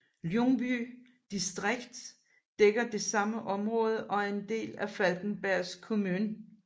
Ljungby distrikt dækker det samme område og er en del af Falkenbergs kommun